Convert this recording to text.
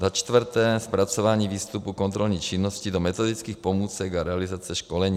Za čtvrté zpracování výstupu kontrolní činnosti do metodických pomůcek a realizace školení.